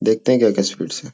देखते हैं क्या-क्या स्वीट्स हैं।